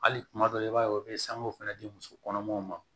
Hali kuma dɔ la i b'a ye u bɛ sangu fana di muso kɔnɔmaw ma